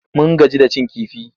Mun gaji da cin kifi.